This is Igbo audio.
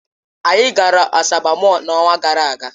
Anyị gara Asaba Mọll n'ọnwa gara aga.